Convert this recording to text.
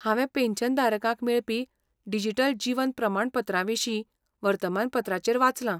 हांवें पॅन्शनधारकांक मेळपी डिजिटल जीवन प्रमाणपत्राविशीं वर्तमानपत्राचेर वाचलां.